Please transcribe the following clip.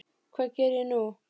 Hvað geri ég nú?